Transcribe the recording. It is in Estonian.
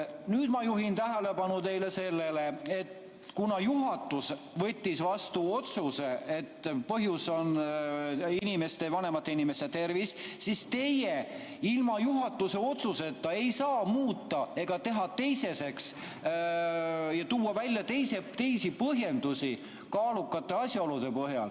Nüüd ma juhin tähelepanu sellele, et kuna juhatus võttis vastu otsuse, et põhjus on vanemate inimeste tervis, siis teie ilma juhatuse otsuseta ei saa muuta ega teha teiseseks ja tuua välja teisi põhjendusi kaalukate asjaolude põhjal.